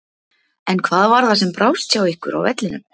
En hvað var það sem brást hjá ykkur á vellinum?